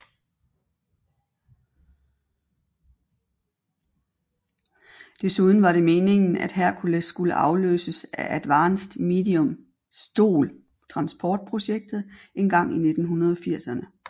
Desuden var det meningen at Hercules skulle afløses af Advanced Medium STOL Transport projektet engang i 1980erne